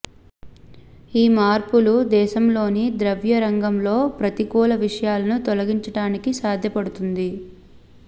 ఈ మార్పులు దేశంలోని ద్రవ్య రంగంలో ప్రతికూల విషయాలను తొలగించడానికి సాధ్యపడుతుంది